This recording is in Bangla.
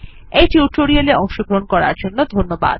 এই টিউটোরিয়াল এ অংশগ্রহন করার জন্য ধন্যবাদ